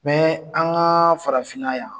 Bɛ an ka farafinna yan